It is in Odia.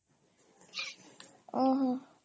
ଓହୋ